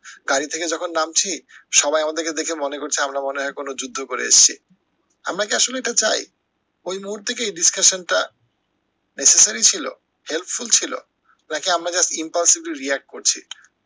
গাড়ি থেকে যখন নামছি, সবাই আমাদেরকে দেখে মনে করছে আমরা মনে হয় কোনো যুদ্ধ করে এসছি। আমরা কি আসলে এটা চাই? ওই মুহূর্তে কি এই discussion টা necessary ছিল? helpful ছিল? নাকি আমরা just impulsive react করছি